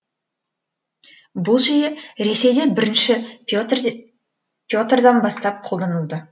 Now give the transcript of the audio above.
бұл жүйе ресейде бірінші петрдан бастап қолданылды